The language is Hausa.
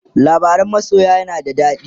labarain masoyan yana da dadi?